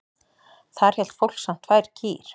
Þar hélt fólk samt tvær kýr.